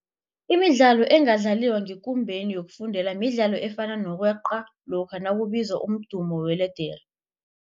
Imidlalo engadlaliwa ngekumbeni yokufundela midlalo efana nokweqa lokha nakubizwa umdumo weledere.